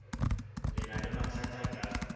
le na le mathatha ka